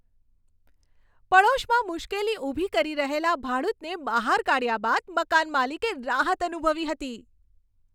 પડોશમાં મુશ્કેલી ઊભી કરી રહેલા ભાડૂતને બહાર કાઢ્યા બાદ મકાન માલિકે રાહત અનુભવી હતી.